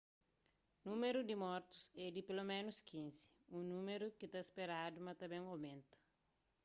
númeru di mortus é di peloménus 15 un númeru ki ta speradu ma ta ben omenta